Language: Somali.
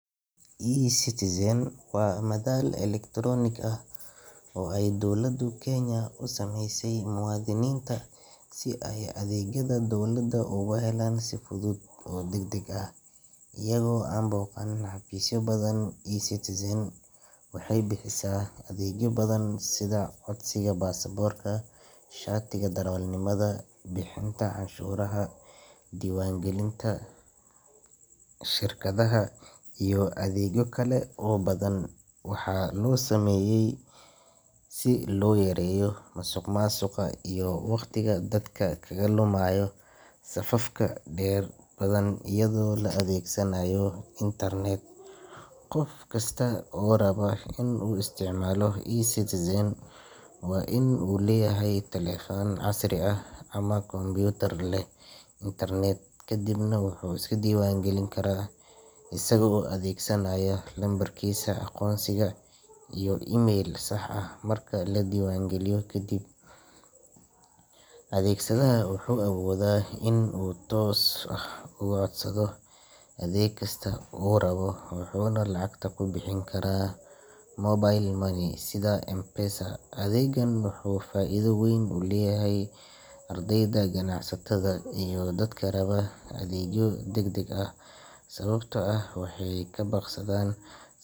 eCitizen waa madal elektaroonik ah oo ay dawladda Kenya u sameysay muwaadiniinta si ay adeegyada dawladda ugu helaan si fudud oo degdeg ah iyagoo aan booqan xafiisyo badan eCitizen waxay bixisaa adeegyo badan sida codsiga baasaboorka, shatiga darawalnimada, bixinta cashuuraha, diiwaangelinta shirkadaha iyo adeegyo kale oo badan waxaa loo sameeyay si loo yareeyo musuqmaasuqa iyo waqtiga dadka kaga lumaya safafka dhererka badan iyadoo la adeegsanayo internet qof kasta oo raba inuu isticmaalo eCitizen waa inuu leeyahay taleefan casri ah ama kombuyuutar leh internet kadibna wuxuu iska diiwaan gelin karaa isagoo adeegsanaya lambarkiisa aqoonsiga iyo email sax ah marka la diiwaangeliyo kadib, adeegsadaha wuxuu awoodaa inuu si toos ah uga codsado adeeg kasta oo uu rabo wuxuuna lacagta ku bixin karaa mobile money sida M-Pesa adeeggan wuxuu faa’iido weyn u leeyahay ardayda, ganacsatada, iyo dadka raba adeegyo degdeg ah sababtoo ah waxay ka baaqsadaan.